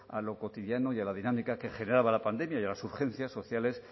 a lo cotidiano y a la dinámica que generaba la pandemia y a las urgencias sociales